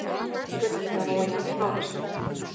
Gull þegar olían klárast